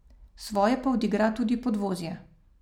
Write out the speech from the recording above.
Svoje pa odigra tudi podvozje.